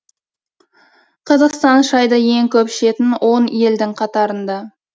қазақстан шайды ең көп ішетін он елдің қатарында